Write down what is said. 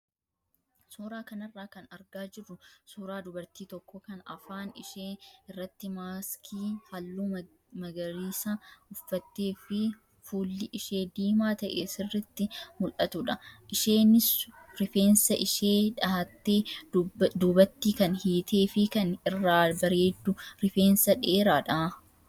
Suuraa kanarraa kan argaa jirru suuraa dubartii tokko kan afaan ishee irratti maaskii halluu magariisa uffattee fi fuulli ishee diimaa ta'e sirriitti mul'attudha. Isheenis rifeensa ishee dhahattee duubattee kan hiitee fi kan irraa bareedu rifeensa dheeraadha.